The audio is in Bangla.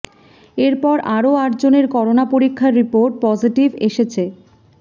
এরপর আরও আট জনের করোনা পরীক্ষার রিপোর্ট পজ়িটিভ এসেছে